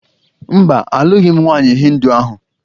Mba, alụghị m nwaanyị Hịndu ahụ